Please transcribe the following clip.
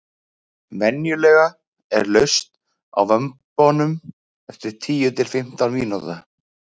venjulega er laust á vömbunum eftir tíu til fimmtán mínúta